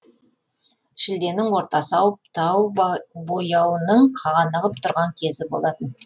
шілденің ортасы ауып тау бояуының қанығып тұрған кезі болатын